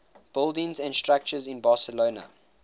buildings and structures in barcelona